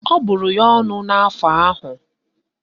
Ọ bụrụ ya ọnụ n'afọ ahụ